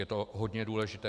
Je to hodně důležité.